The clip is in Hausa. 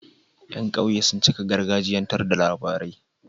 Yan ƙauye sun cika gargajiyan tar da labarai